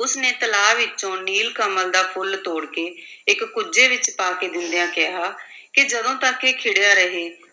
ਉਸ ਨੇ ਤਲਾ ਵਿੱਚੋਂ ਨੀਲ ਕੰਵਲ ਦਾ ਫੁੱਲ ਤੋੜ ਕੇ ਇੱਕ ਕੁੱਜੇ ਵਿੱਚ ਪਾ ਕੇ ਦਿੰਦਿਆਂ ਕਿਹਾ ਕਿ ਜਦੋਂ ਤੱਕ ਇਹ ਖਿੜਿਆ ਰਹੇ,